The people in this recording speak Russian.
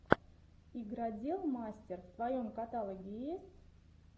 игродел мастер в твоем каталоге есть